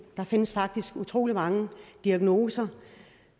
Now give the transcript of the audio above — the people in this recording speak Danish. der findes faktisk utrolig mange diagnoser